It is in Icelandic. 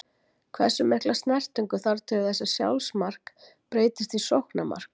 Hversu mikla snertingu þarf til þess að sjálfsmark breytist í sóknarmark?